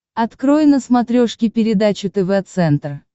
открой на смотрешке передачу тв центр